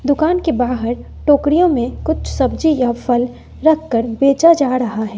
दुकान के बाहर टोकरियों में कुछ सब्जी या फल रख कर बेचा जा रहा हैं।